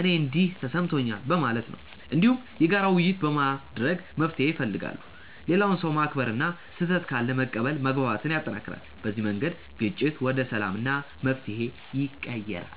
“እኔ እንዲህ ተሰምቶኛል” በማለት ነው። እንዲሁም የጋራ ውይይት በማድረግ መፍትሄ ይፈልጋሉ። ሌላውን ሰው ማክበር እና ስህተት ካለ መቀበል መግባባትን ያጠናክራል። በዚህ መንገድ ግጭት ወደ ሰላም እና መፍትሄ ይቀየራል።